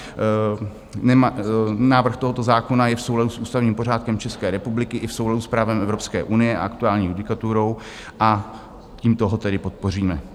Návrh tohoto zákona je v souladu s ústavním pořádkem České republiky i v souladu s právem Evropské unie a aktuální judikaturou, a tímto ho tedy podpoříme.